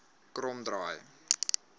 kromdraai